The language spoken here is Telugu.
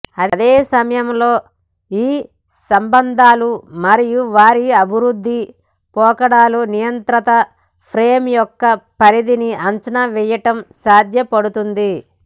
అదే సమయంలో ఈ సంబంధాలు మరియు వారి అభివృద్ధి పోకడలు నియంత్రిత ఫ్రేమ్ యొక్క పరిధిని అంచనా వేయటం సాధ్యపడుతుంది